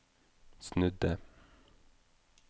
snudde